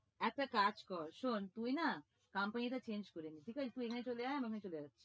একটা কাজ কর শোন, তুই না company টা change করে দে ঠিক আছে? তুই এখানে চলে আয়, আমি ওখানে চলে যাচ্ছি।